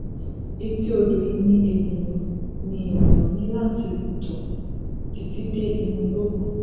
etí odò yìí ni enìà ni enìà ní láti tọ títí dé inú igbó kan